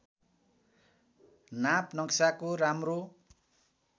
नाप नक्साको राम्रो